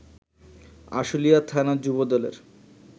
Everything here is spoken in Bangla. আশুলিয়া থানা যুবদলের